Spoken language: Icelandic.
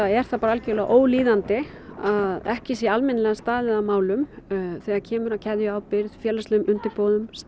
er það algerlega ólíðandi að ekki sé almennilega staðið að málum þegar kemur að keðjuábyrgð félagslegum undirboðum